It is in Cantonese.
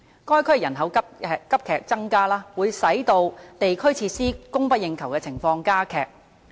該區人口急增，會使地區設施供不應求的情況加劇。